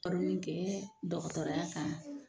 kɛ dɔgɔtɔrɔya kan.